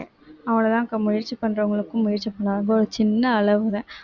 அவ்வளவுதான்க்கா முயற்சி பண்றவங்களுக்கும் முயற்சி பண்ணா~ அப்போ ஒரு சின்ன அளவுதான்